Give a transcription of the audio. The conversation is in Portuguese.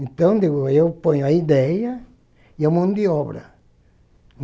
Então, deu eu ponho a ideia e a mão de obra.